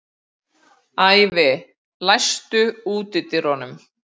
Ævi, læstu útidyrunum.